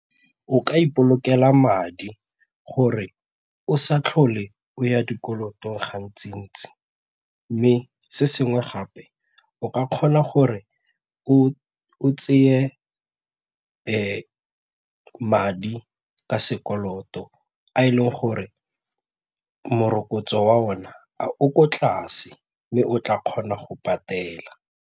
O ka ipolokela madi gore o sa tlhole o ya dikoloto gantsi-ntsi mme se sengwe gape o ka kgona gore o tseye madi ka sekoloto a e leng gore morokotso wa ona a o ko tlase mme o tla kgona go patela.